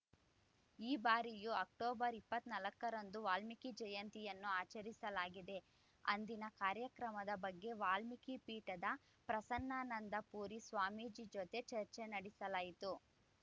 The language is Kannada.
ಈ ಬಾರಿಯು ಅಕ್ಟೋಬರ್ ಇಪ್ಪತ್ತ್ ನಾಲ್ಕರಂದು ವಾಲ್ಮೀಕಿ ಜಯಂತಿಯನ್ನು ಆಚರಿಸಲಾಗಿದೆ ಅಂದಿನ ಕಾರ್ಯಕ್ರಮದ ಬಗ್ಗೆ ವಾಲ್ಮೀಕಿ ಪೀಠದ ಪ್ರಸನ್ನಾನಂದ ಪುರಿ ಸ್ವಾಮೀಜಿ ಜೊತೆ ಚರ್ಚೆ ನಡೆಸಲಾಗಿತ್ತು